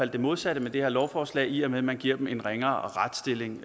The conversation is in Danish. det modsatte med det her lovforslag i og med at man giver dem en ringere retsstilling